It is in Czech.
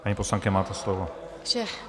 Paní poslankyně, máte slovo.